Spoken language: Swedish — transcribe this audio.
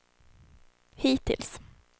hittills